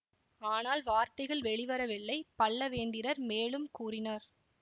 ஆனால் வார்த்தைகள் வெளிவரவில்லை பல்லவேந்திரர் மேலும் கூறினார்